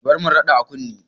Ki bar min raɓar a kunne!